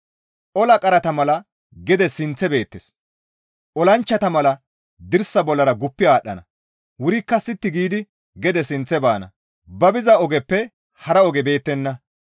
Ola qarata mala gede sinththe beettes; olanchchata mala dirsa bollara guppi aadhdhana; wurikka sitti giidi gede sinththe baana; ba biza ogeppe hara oge beettenna.